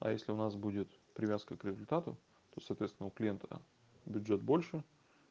а если у нас будет привязка к результату то соответственно у клиента бюджет больше